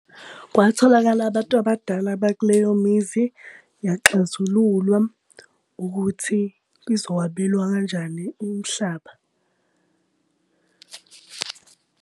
Kwatholakala abantu abadala bakuleyo mizi, yaxazululwa ukuthi izokwabelwa kanjani umhlaba .